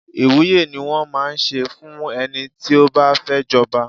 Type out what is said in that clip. Ìwúye ni wón máa ń ṣe fún ẹni tí ó bá fẹ́ jọba.